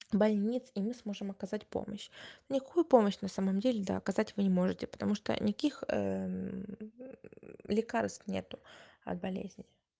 больницы и мы сможем оказать помощь помощь на самом деле доказать вы не можете потому что никаких лекарств нет от болезни